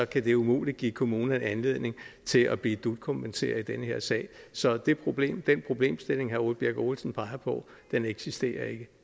kan det umuligt give kommunerne anledning til at blive dut kompenseret i den her sag så den problemstilling problemstilling herre ole birk olesen peger på eksisterer ikke